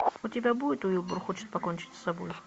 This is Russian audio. у тебя будет уилбур хочет покончить с собой